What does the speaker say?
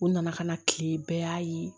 U nana ka na kile bɛɛ y'a ye